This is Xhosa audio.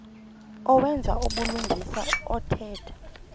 owenza ubulungisa othetha